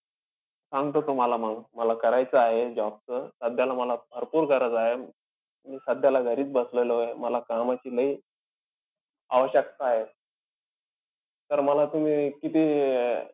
सांगतो तुम्हाला मंग. मला करायचं आहे job चं. सध्याला मला भरपूर गरज आहे. मी सध्याला घरीचं बसलेलोय. मला कामाची लय आवश्यकता आहे. तर मला तुम्ही किती अं